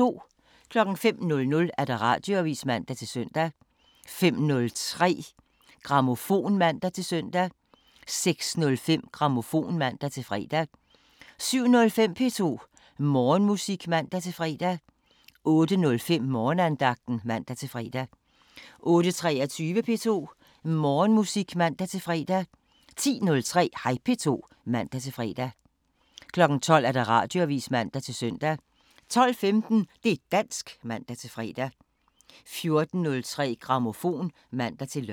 05:00: Radioavisen (man-søn) 05:03: Grammofon (man-søn) 06:05: Grammofon (man-fre) 07:05: P2 Morgenmusik (man-fre) 08:05: Morgenandagten (man-fre) 08:23: P2 Morgenmusik (man-fre) 10:03: Hej P2 (man-fre) 12:00: Radioavisen (man-søn) 12:15: Det' dansk (man-fre) 14:03: Grammofon (man-lør)